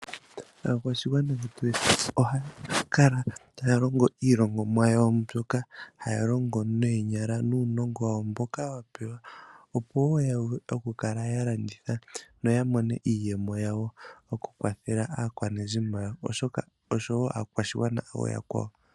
Aakwayashigwana ohaya kala taya longo iilongomwa yawo mbyoka haya longo neenyala nuunongo wawo mboka ya pewa. Opo ya wape oku kala ya landitha noya mone iiyemo yawo oku kwathela aakwanezimo yawo osho wo aakwashigwana ooyakwawo.